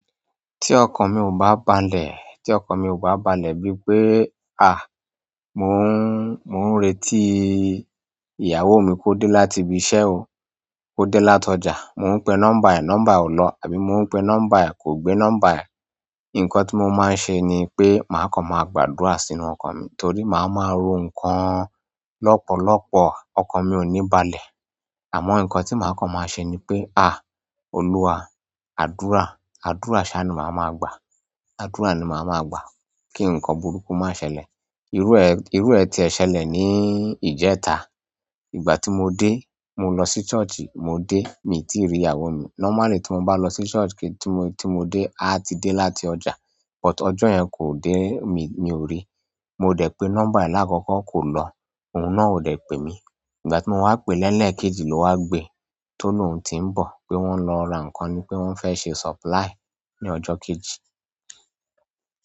Tí ọkàn mi ò bá balẹ̀, tí ọkàn mi ò bá balẹ̀ bí pé mò ń, mò ń retí ìyàwó mi kó dé láti ibi iṣẹ́ o, kó dé lát'ọjà. Mò ń pe nọ́mbà ẹ̀, nọ́mbà ẹ̀ ò lọ, àbí mo ń pe nọ́mbà ẹ̀ kò gbé nọ́mbà ẹ̀. Nǹkan tí mo máa ń ṣe ni pé màá kàn máa gbàdúrà sínú ọkàn mi torí màá máa ro nǹkan lọ́pọ̀lọpọ̀. Ọkàn mi ò ní balẹ̀. Àmọ́ nǹkan tí màá kán máa ṣe ni pé Olúwa, àdúrà, àdúrà ṣáá ni màá máa gbà. Àdúrà ni màá máa gbà kí nǹkan burúkú má ṣẹlẹ̀. Irú ẹ̀, irú ẹ̀ tiẹ̀ ṣẹlẹ̀ ní ìjẹta. Ìgbà tí mo dé, mo lọ sí church, mo dé, miì tíì rí ìyàwó mi. Normally tí mo bá lọ sí church kí tí mo, tí mo dé, áá ti dé láti ọjà. But ọjọ́ yẹn kò dé, mi, mi ò ri. Mo dẹ̀ pé number lákọ́kọ́ kò lọ, òun náà ò dẹ̀ pè mí. Ìgbà tí mo wá pèé lẹ́lẹ̀kejì ló wá gbe. Tólóhùn tí ń bọ̀ pé wọ́n lọ ra nǹkan nípé wọ́n fẹ́ ṣe supply ní ọjọ́ kejì.